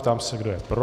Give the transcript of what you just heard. Ptám se, kdo je pro.